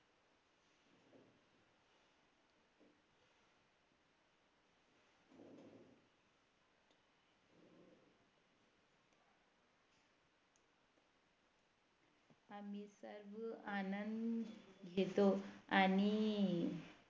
आम्ही सर्व आनंद घेतो आणि